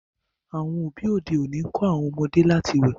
àwọn òbí òde òni nkọ àwọn ọmọdé láti wẹ